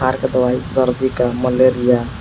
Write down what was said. दवाई सर्दी का मलेरिया।